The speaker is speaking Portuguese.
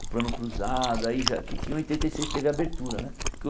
o plano Cruzado aí já, que que em oitenta e seis teve a abertura né. Que o